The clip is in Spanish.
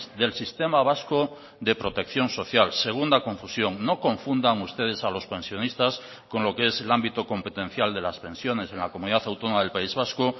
del sistema vasco de protección social segunda confusión no confundan ustedes a los pensionistas con lo que es el ámbito competencial de las pensiones en la comunidad autónoma del país vasco